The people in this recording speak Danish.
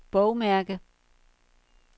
bogmærke